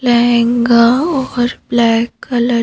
लहंगा और black colour --